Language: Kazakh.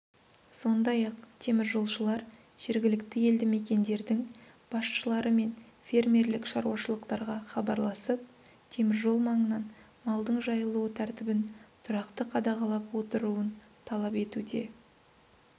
сондай-ақ теміржолшылар жергілікті елді мекендердің басшылары мен фермерлік шаруашылықтарға хабарласып теміржол маңынан малдың жайылуы тәртібін тұрақты қадағалап отыруын талап етуде